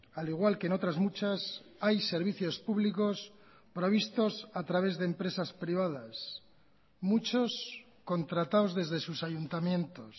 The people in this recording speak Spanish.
al igual que en otras muchas hay servicios públicos provistos a través de empresas privadas muchos contratados desde sus ayuntamientos